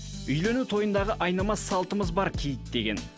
үйлену тойындағы айнымас салтымыз бар киіт деген